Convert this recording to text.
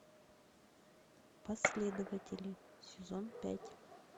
последователи сезон пять